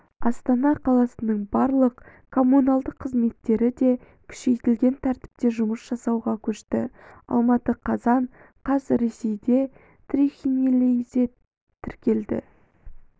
астана қаласының барлық коммуналдық қызметтері де күшейтілген тәртіпте жұмыс жасауға көшті алматы қазан қаз ресейде трихинеллезтіркелді